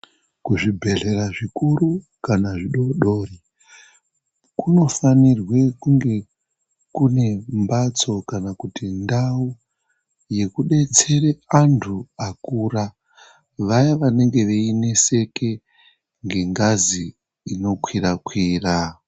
Kuzvibhedhlera zvikuru kana zvidodori kunofanirwe kunge kunembatso kana kuti ndau yekubetsere antu akura. Vaya vanenge veineseke ngengazi inokwira-kwira.